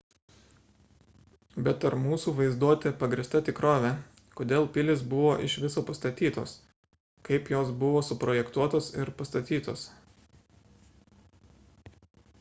bet ar mūsų vaizduotė pagrįsta tikrove kodėl pilys buvo iš viso pastatytos kaip jos buvo suprojektuotos ir pastatytos